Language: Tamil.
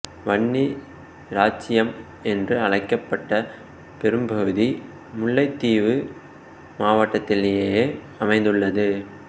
வன்னி இராச்சியம் என்று அழைக்கப்பட்ட பெரும்பகுதி முல்லைத்தீவு மாவட்டத்திலேயே அமைந்துள்ளது